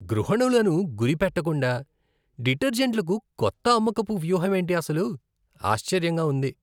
గృహణులను గురిపెట్టకుండా డిటర్జెంట్లకు కొత్త అమ్మకపు వ్యూహమేంటి అసలు? ఆశ్చర్యంగా ఉంది.